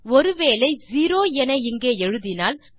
ஒரு வேளை செரோ என இங்கே எழுதினால்